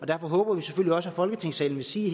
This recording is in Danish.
derfor håber vi selvfølgelig også i folketingssalen vil sige